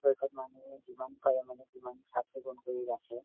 মানুহে যিমান পাৰে মানে সিমান চাফ চিকুণ কৰি ৰাখে।